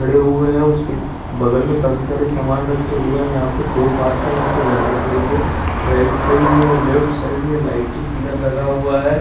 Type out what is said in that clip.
बड़े हुए हैं उसकी बगल में काफी सारे सामान बचे हुए है यहां पे दो पाथ यहां पे रहने के लिए राइट साइड में और लेफ्ट साइड में लाइटिंग पिल्लर लगा हुआ है।